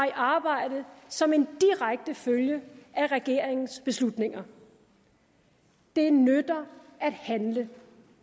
i arbejde som en direkte følge af regeringens beslutninger det nytter at handle